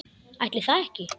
Ætli það ekki.